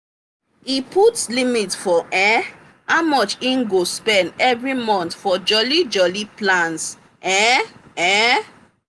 e put limit for um how much e go spend every month for jolly jolly plans. um um